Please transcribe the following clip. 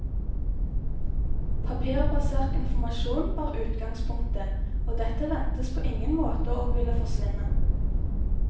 Papirbasert informasjon var utgangspunktet, og dette ventes på ingen måte å ville forsvinne.